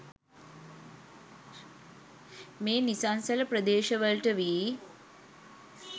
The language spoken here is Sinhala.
මේ නිසංසල ප්‍රදේශවලට වී